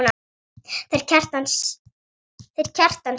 Þeir Kjartan sjá þetta.